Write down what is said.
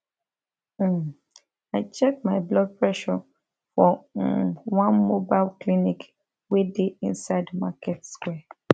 um i check my blood pressure for um one mobile clinic wey dey inside market square